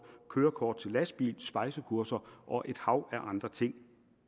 og kørekort til lastbil svejsekurser og et hav af andre ting